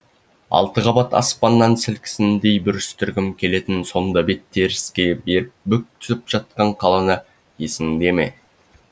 алты қабат аспанның сілкінісіндей бүрістіргім келетін сондабетін теріске беріпбүк түсіп жатқан қаланы есіңде ме